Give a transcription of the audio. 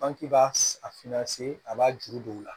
An k'i b'a finna se a b'a juru don u la